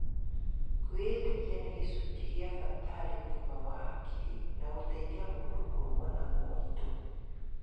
Kwĩĩtĩkia nĩ gĩcunjĩ gĩa bata kĩa ũgima wa hakiri na gũteithia mũndũ kũrũa na moritũ.